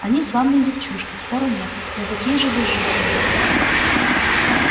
они славные девчушки спору нет но какие же безжизненные